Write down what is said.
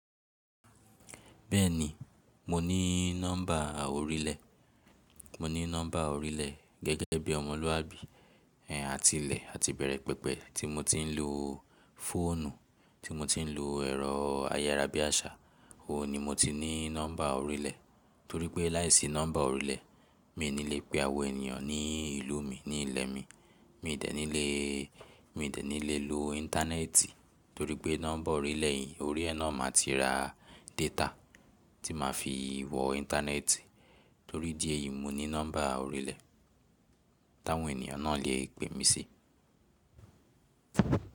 Bẹ́ẹ̀ni, mo ní nọ́mbà orílẹ̀. Mo ní nọ́mbà orílẹ̀ gẹ́gẹ́ bí ọmọlúwàbí, àtilẹ̀ àti bẹ̀rẹ̀ pẹpẹ tí mo tí ń lo fóònù, tí mo tí ń lo ẹ̀rọ ayárabíàṣá, òun ni mo tí ní nọ́mbà orílẹ̀. Torí pé láìsí nọ́mbà orílẹ̀ mi i ní le pe àwọn ènìyàn ní ìlú mi ní ilẹ̀ mi. Mi i dẹ̀ ní lè, mi i dẹ̀ ní lè lo íńtánẹ́ẹ̀tì torí pé nọ́mbà orílẹ̀ yìí, orí ẹ náà màá ti ra data tí màá fi wọ́ íńtánẹ́ẹ̀tì. Torí idí èyí mo ní nọ́mbà orílẹ̀, táwọn ènìyàn náà le pe mí sí.